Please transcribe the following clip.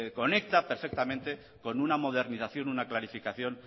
conecta perfectamente con una modernización una clarificación